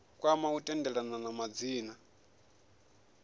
kwama u tendelana kha madzina